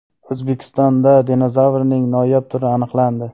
O‘zbekistonda dinozavrlarning noyob turi aniqlandi.